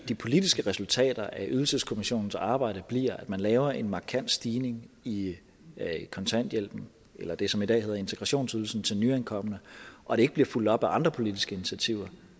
de politiske resultater af ydelseskommissionens arbejde bliver at man laver en markant stigning i kontanthjælpen eller i det som i dag hedder integrationsydelsen til nyankomne og det ikke bliver fulgt op af andre politiske initiativer